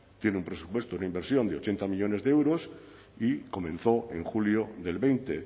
tiene un presupuesto una inversión de ochenta millónes de euros y comenzó en julio del veinte